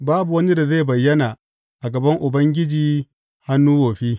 Babu wani da zai bayyana a gaban Ubangiji hannu wofi.